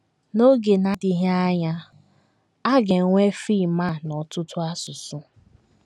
N’oge na - adịghị anya, a ga - enwe fim a n’ọtụtụ asụsụ.